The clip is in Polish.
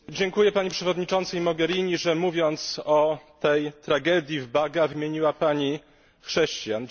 Dziękuję Pani Przewodniczącej Mogherini, że mówiąc o tej tragedii w Baga, wymieniła Pani chrześcijan.